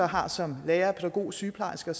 har til lærere pædagoger og sygeplejersker